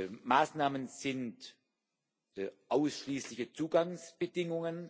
Die Maßnahmen sind ausschließliche Zugangsbedingungen,